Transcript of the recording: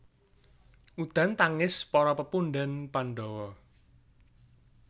Udan tangis para pepundhén Pandhawa